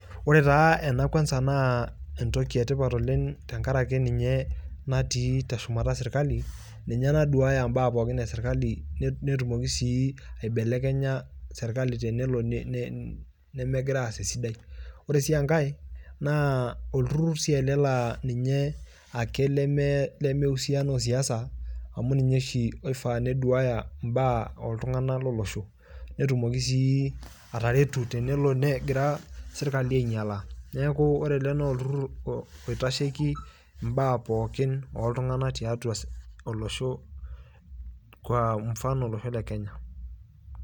ore taa ena kwanza naa entoki etipat tenkaraki ninye natii teshumata sirkali. ninye naduaaya mbaa pookin esirkali netumoki sii aibelekenya sirkali tenelo nemegira aas esiai oleng'. ore sii enkae naa olturur si ele laa ninye ake leme leme husiana osiasa amu ninye oshi oifaa neduaya mbaa oltung'anak lolosho . netumoki sii ataretu tenelo negira sirkali ainyialaa . neku ore ele naa olturur oitasheiki mbaa pookin tiatua olosho kwa mfano olosho le Kenya.